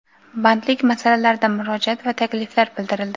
bandlik masalalarida murojaat va takliflar bildirildi.